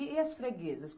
E as freguesas?